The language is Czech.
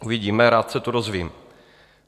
Uvidíme, rád se to dozvím.